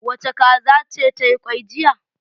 Wace kaza ce ta yi kwai jiya?